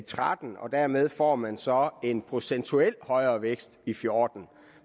tretten og dermed får man så en procentuelt højere vækst i fjorten